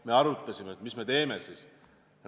Me arutasime, mis me teeme.